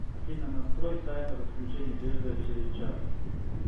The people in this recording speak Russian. афина настрой таймер отключения телевизора через час